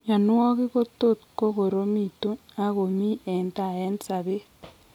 Mionwogik ko tot kokoromitun ak komi en tai en sabet